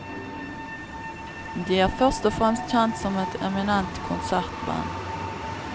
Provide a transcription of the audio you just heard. De er først og fremst kjent som et eminent konsertband.